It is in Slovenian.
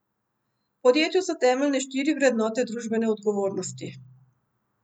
V podjetju so temeljne štiri vrednote družbene odgovornosti.